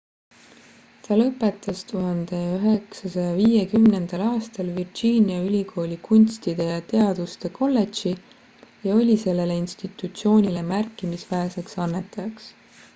ta lõpetas 1950 aastal virginia ülikooli kunstide ja teaduste kolledži ja oli sellele institutsioonile märkimisväärseks annetajaks